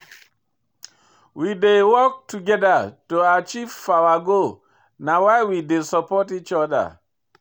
We dey work togeda to achieve our goal na why we dey support each oda.